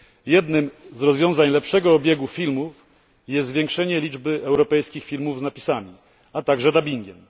Jednym z rozwiązań lepszego obiegu filmów jest zwiększenie liczby europejskich filmów z napisami, a także dubbingiem.